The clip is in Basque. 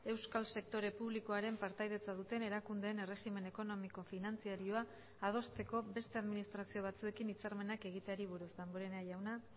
euskal sektore publikoaren partaidetza duten erakundeen erregimen ekonomiko finantzarioa adosteko beste administrazio batzuekin hitzarmenak egiteari buruz damborenea jauna